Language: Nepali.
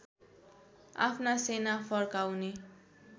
आफ्ना सेना फर्काउने